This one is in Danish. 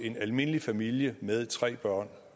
en almindelig familie med tre børn